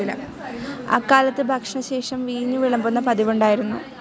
അക്കാലത്ത് ഭക്ഷണശേഷം വീഞ്ഞു വിളമ്പുന്ന പതിവുണ്ടായിരുന്നു.